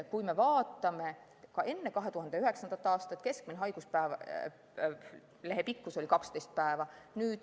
Kui me vaatame aega enne 2009. aastat, siis keskmine haiguslehe pikkus oli 12 päeva.